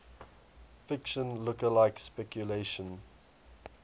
fiction lookalike speculation